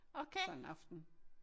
Sådan en aften